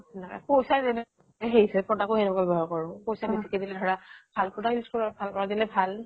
পইচা যেনে সেই হিচাপে product ও হেনেকুৱা ব্য়বহাৰ কৰো। পইচা বেছিকে দিলে ধৰা ভাল product use কৰো আৰু ভাল product দিলে ভাল।